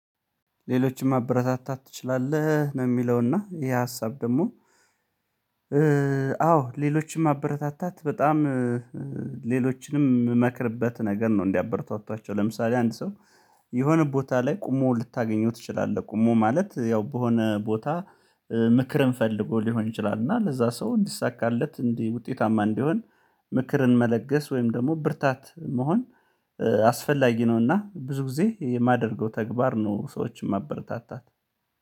ሌሎችንም አበረታታት ትችላለህ ነው የሚለውና ይሄ ሀሳብ ደግሞ አዎ ሌሎችንም አበረታታት በጣም ሌሎችንም የምመክርበት ነገር ነው እንዲያበረታታቸው፤ ለምሳሌ አንድ ሰው የሆነ ቦታ ላይ ቆሞ ልታገኘው ትችላለህ ቆሞ ማለት ያው በሆነ ቦታ ምክርም ፈልጎ ሊሆን ይችላል፤ እና ለዛ ሰው እንዲሳካለት እንዲህ ውጤታማ እንዲሆን ምክርን መለገስ ወይም ደግሞ ብርታት መሆን አስፈላጊ ነውና ብዙ ጊዜ የማደርገው ተግባር ነው ሰዎችን ማበረታታት።